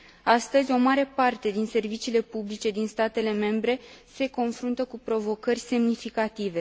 Astăzi, o mare parte din serviciile publice din statele membre se confruntă cu provocări semnificative.